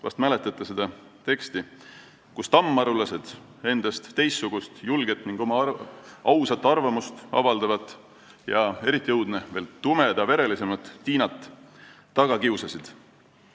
Vahest mäletate seda teksti ja seda, kuidas tammarulased teistsugust, julget ning oma ausat arvamust avaldavat ja, eriti õudne, tumedama verega Tiinat taga kiusasid.